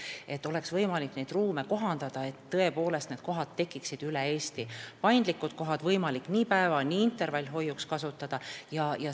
Neid ruume peab olema võimalik kohandada, et tõepoolest üle Eesti tekiksid need n-ö paindlikud kohad, mida oleks võimalik kasutada nii päeva- kui ka intervallhoiuks.